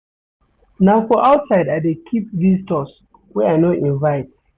Na for outside I dey keep visitors wey I no invite.